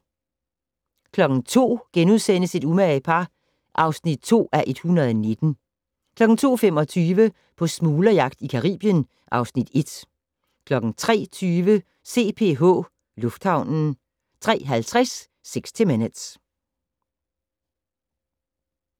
02:00: Et umage par (2:119)* 02:25: På smuglerjagt i Caribien (Afs. 1) 03:20: CPH Lufthavnen 03:50: 60 Minutes